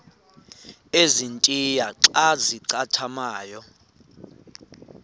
ezintia xa zincathamayo